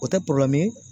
O tɛ